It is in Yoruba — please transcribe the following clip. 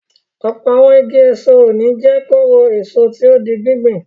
Ọ̀pọ̀ àwọn igi èso òní jẹ́ kóró-èso tí ó di gbíngbìn.